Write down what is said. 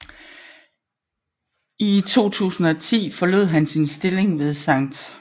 I 2010 forlod han sin stilling ved Skt